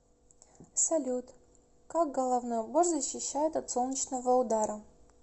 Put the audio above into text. салют как головной убор защищает от солнечного удара